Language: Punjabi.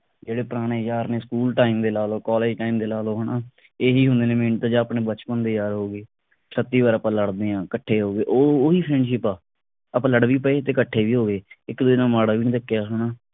ਜਿਹੜੇ ਪੁਰਾਣੇ ਯਾਰ ਨੇ school time ਦੇ ਲਾਲੋ college time ਦੇ ਲਾਲੋ ਹਣਾ ਇਹੀ ਹੁੰਦੇ ਨੇ ਆਪਣੇ ਬਚਪਨ ਦੇ ਯਾਰ ਹੋਗੇ । ਛੱਤੀ ਵਾਰ ਆਪਾ ਲੜ ਦੇ ਆ ਇਕੱਠੇ ਹੋਗੇ ਉਹ ਉਹੀ friendship ਆ। ਆਪਾ ਲੜ ਵੀ ਪਏ ਤੇ ਇਕੱਠੇ ਵੀ ਹੋਗੇ ਇਕ ਦੂਜੇ ਨਾਲ ਮਾੜਾ ਵੀ ਨੀ ਰੱਖਿਆ ਹਣਾ